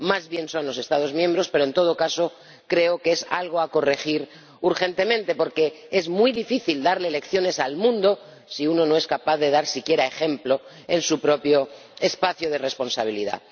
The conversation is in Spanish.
Más bien lo son los Estados miembros, pero en todo caso creo que es algo que hay que corregir urgentemente porque es muy difícil darle lecciones al mundo si uno no es capaz de dar siquiera ejemplo en su propio espacio de responsabilidad.